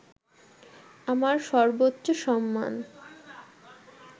আমার সর্বোচ্চ সম্মান